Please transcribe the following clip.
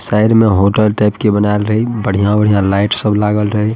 Side में hotel type के बनाएल रही बढ़िया-बढ़िया लाइट सब लागल रही।